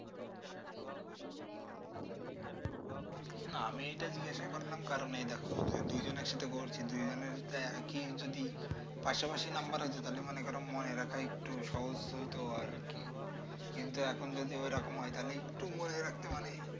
না আমি এটা জিজ্ঞাসা করলাম কারণ এই দেখো দুজনের সাথে বলছি দুজনের তো একই যদি পাশাপাশি নাম্বার হইত তাহলে মনে করো মনে রাখ সহজ হইতো আর কি কিন্তু এখন যদি ওই রকম হয় তাহলে একটু মনে রাখতে মানে